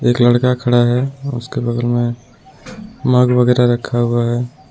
एक लड़का खड़ा है उसके बगल में मग वगैरा रखा हुआ है.